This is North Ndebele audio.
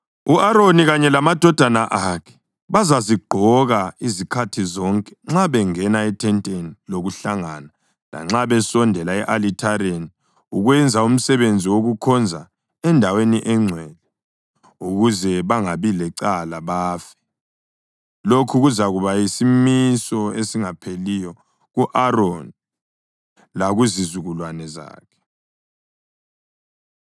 U-Aroni kanye lamadodana akhe bazazigqoka izikhathi zonke nxa bengena ethenteni lokuhlangana lanxa besondela e-alithareni ukwenza umsebenzi wokukhonza eNdaweni eNgcwele, ukuze bangabi lecala bafe. Lokhu kuzakuba yisimiso esingapheliyo ku-Aroni lakuzizukulwane zakhe.”